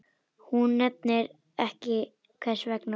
Hún nefnir ekki hvers vegna.